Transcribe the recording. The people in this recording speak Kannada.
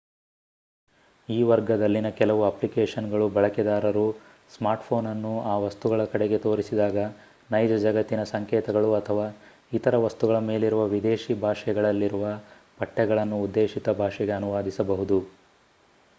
ಈ ವರ್ಗದಲ್ಲಿನ ಕೆಲವು ಅಪ್ಲಿಕೇಶನ್‌ಗಳು ಬಳಕೆದಾರರು ಸ್ಮಾರ್ಟ್‌ಫೋನ್ ಅನ್ನು ಆ ವಸ್ತುಗಳ ಕಡೆಗೆ ತೋರಿಸಿದಾಗ ನೈಜ ಜಗತ್ತಿನ ಸಂಕೇತಗಳು ಅಥವಾ ಇತರ ವಸ್ತುಗಳ ಮೇಲಿರುವ ವಿದೇಶಿ ಭಾಷೆಗಳಲ್ಲಿರುವ ಪಠ್ಯಗಳನ್ನು ಉದ್ದೇಶಿತ ಭಾಷೆಗೆ ಅನುವಾದಿಸಬಹುದು